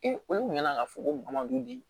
Ee olu kun bɛna ka fɔ ko madu di